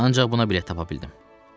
Ancaq buna bilet tapa bildim.